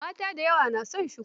Mata da yawa na son shuku.